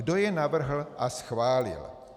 Kdo je navrhl a schválil?